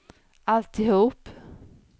alltihop